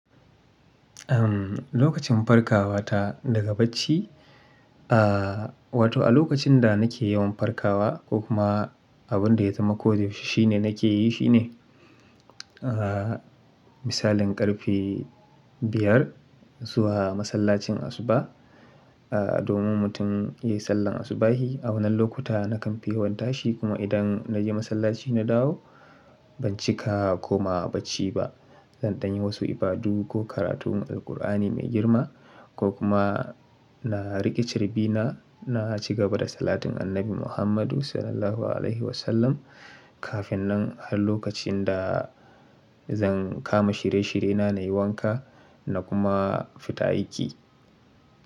Umm, lokacin farkawa ta daga bacci, aa wato a lokacin da nake yawan farkawa ko kuma abun da ya zamako dayaushe shine nake yi shine, aa misalin ƙarfe biyar zuwa masallacin asuba, aa domin mutum ya yi sallar asubahi. A wannan lokuta nakan fi yawan tashi kuma idan na je masallaci na dawo, ban cika ko ma bacci ba. Zan ɗan yi wasu ibadu ko karatun Alqur'ani mai girma ko kuma na riƙe carbina na ci gaba da salatin annabi Muhammadu Sallallahu Alaihi Wasallam. Kafin nan har lokacin da zan kama shirye-shiryena na yi wanka na kuma fita aiki.